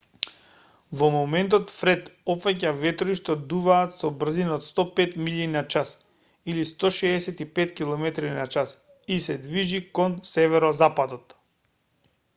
во моментов фред опфаќа ветрови што дуваат со брзина од 105 милји на час 165 км/ч и се движи кон северозападот